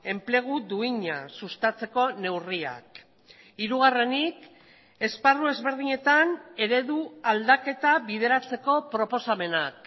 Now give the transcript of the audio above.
enplegu duina sustatzeko neurriak hirugarrenik esparru ezberdinetan eredu aldaketa bideratzeko proposamenak